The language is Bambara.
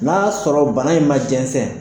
N'a y'a sɔrɔ bana in ma jɛnsɛn